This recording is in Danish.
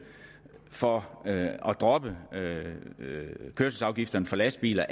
for at droppe kørselsafgifterne for lastbiler